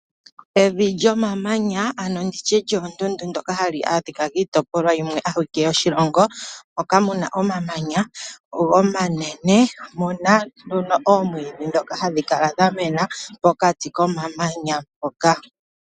Evi lyomamanya, ano nditye lyomundundu ndyoka hali adhikwa kiitopolwa yimwe awike yoshilongo, moka muna omamanya omanene, omuna nduno oomwidhi dhoka hadhi kala dhamena pokati komamanyana mpoka